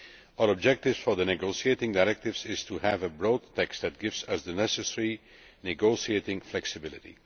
Our objective for the negotiating directives is to have a broad text that gives us the necessary negotiating flexibility.